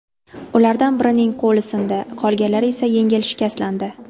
Ulardan birining qo‘li sindi, qolganlar ham yengil shikastlandi.